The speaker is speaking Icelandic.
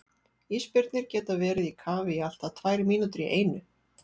Ísbirnir geta verið í kafi í allt að tvær mínútur í einu.